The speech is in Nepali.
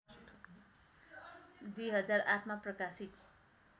२००८मा प्रकाशित